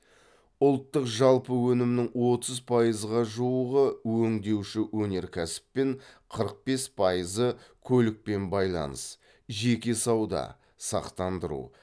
ұлттық жалпы өнімнің отыз пайызға жуығы өңдеуші өнеркәсіп пен қырық бес пайызы көлік пен байланыс жеке сауда сақтандыру